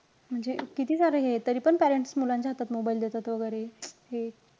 म्हणजे किती सारे हे, तरी पण parents मुलांच्या हातात mobile देतात, वैगरे हे.